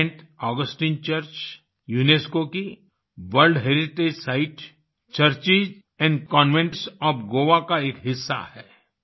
Saint Augustine Church UNESCO की World Heritage site churches and convents of Goa का एक हिस्सा है